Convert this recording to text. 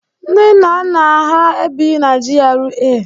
Ndị nna nna ha ebighi na GRA.